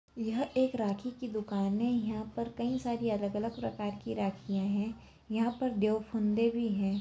यह एक राखी की दुकान है यहाँ पर कई सारी अलग अलग प्रकार की राखियां है यहाँ पर देव फुन्दे भी है।